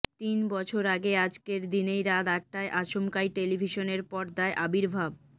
তিন বছর আগে আজকের দিনেই রাত আটটায় আচমকাই টেলিভিশনের পর্দায় আবির্ভাব